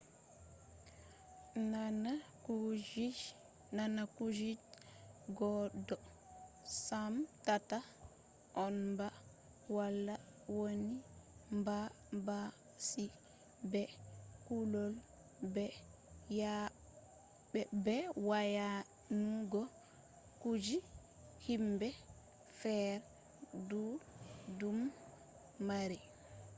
nana kuje je goddo semtata on ba:wala wani banbanci be kulol be wayanugo kuje himbe feere dudum mari